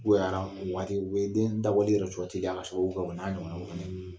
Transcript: Bonya waati u den dabɔli yɛrɛ teliya o n'a ɲɔgɔnnaw kɔni